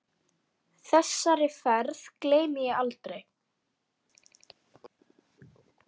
Þessari ferð gleymi ég aldrei.